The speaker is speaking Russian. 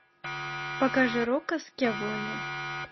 покажи рокко скьявоне